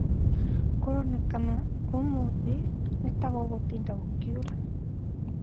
Kũronekana ũmũthĩ nĩtagũgũtinda gũkiura